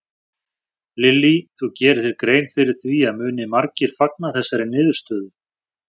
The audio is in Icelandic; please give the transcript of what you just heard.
Lillý: Þú gerir þér grein fyrir því að muni margir fagna þessari niðurstöðu?